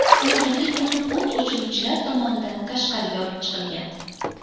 U zudlik bilan o‘t o‘chiruvchilar tomonidan tashqariga olib chiqilgan.